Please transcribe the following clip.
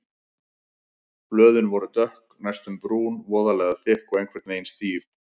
Blöðin voru dökk, næstum brún, voðalega þykk og einhvern veginn stíf.